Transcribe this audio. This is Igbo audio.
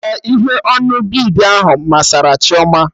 Ee, ihe onu bid ahụ masari Chioma